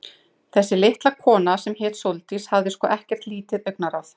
Þessi litla kona, sem hét Sóldís, hafði sko ekkert lítið augnaráð.